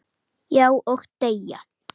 Já, og deyja